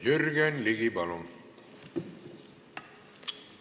Jürgen Ligi, palun!